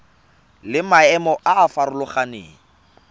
le maemo a a farologaneng